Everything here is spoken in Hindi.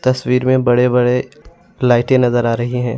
तस्वीर में बड़े बड़े लाइटे नजर आ रही हैं।